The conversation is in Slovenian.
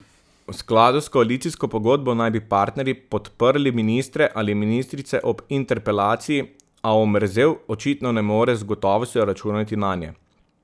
V skladu s koalicijsko pogodbo naj bi partnerji podprli ministre ali ministrice ob interpelaciji, a Omerzel očitno ne more z gotovostjo računati nanje.